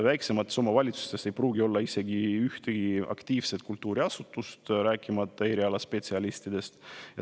Väiksemates omavalitsustes ei pruugi olla isegi ühtegi aktiivselt kultuuriasutust, rääkimata erialaspetsialistidest.